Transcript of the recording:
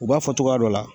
U b'a fɔ cogoya dɔ la